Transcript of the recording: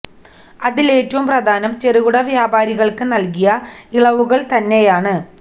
അതില് ഏറ്റവും പ്രധാനം ചെറുകിട വ്യാപാരികള്ക്ക് നല്കിയ ഇളവുകള് തന്നെയാണ്